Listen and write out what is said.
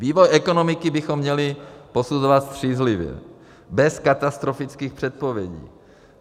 Vývoj ekonomiky bychom měli posuzovat střízlivě, bez katastrofických předpovědí.